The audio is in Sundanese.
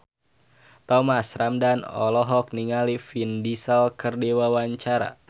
Thomas Ramdhan olohok ningali Vin Diesel keur diwawancara